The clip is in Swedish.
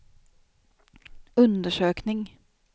undersökning